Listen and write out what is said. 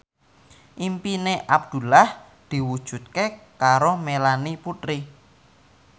impine Abdullah diwujudke karo Melanie Putri